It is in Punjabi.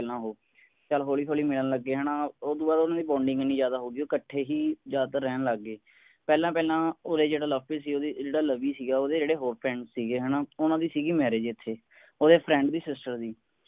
ਪਹਿਲਾਂ ਓਹੋ ਚੱਲ ਹੋਲੀ ਹੋਲੀ ਮਿਲਣ ਲੱਗੇ ਹੈ ਨਾ ਉਸ ਤੋਂ ਬਾਅਦ ਉਨ੍ਹਾਂ ਦੀ ਹੀ ਇੰਨੀ ਜਿਆਦਾ ਹੋ ਗਈ ਉਹ ਇੱਕਠੇ ਹੀ ਜਿਆਦਾਤਰ ਰਹਿਣ ਲੱਗ ਗਏ ਪਹਿਲਾਂ ਪਹਿਲਾਂ ਉਰੇ ਜਿਹੜਾ ਲਵਪ੍ਰੀਤ ਸੀ ਓਹਦੀ ਜਿਹੜਾ ਲਵੀ ਸੀ ਓਹਦੇ ਜਿਹੜੇ ਹੋਰ ਸੀਗੇ ਹੈ ਨਾ ਉਨ੍ਹਾਂ ਦੀ ਸੀਗੀ ਇੱਥੇ ਓਹਦੇ ਦੇ ਦੀ